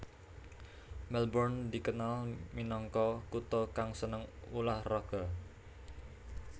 Melbourne dikenal minangka kutha kang seneng ulah raga